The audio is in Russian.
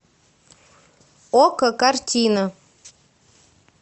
окко картина